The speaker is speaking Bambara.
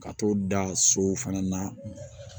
Ka t'o da sow fana na